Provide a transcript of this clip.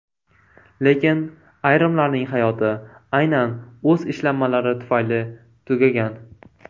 Lekin ayrimlarning hayoti aynan o‘z ishlanmalari tufayli tugagan.